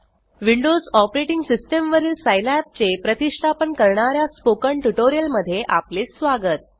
windows operating system वरील Scilab चे प्रतिष्ठापन करणाऱ्या स्पोकन ट्यूटोरियल मध्ये आपले स्वागत